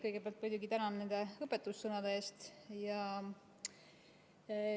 Kõigepealt muidugi tänan nende õpetussõnade eest.